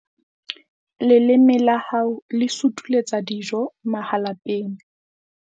Leleme la hao le sutuletsa dijo mahalapeng.